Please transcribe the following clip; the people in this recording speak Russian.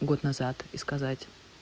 год назад и сказать